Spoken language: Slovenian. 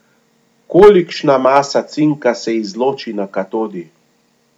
Kolikšna masa cinka se izloči na katodi?